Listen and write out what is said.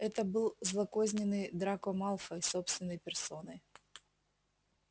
это был злокозненный драко малфой собственной персоной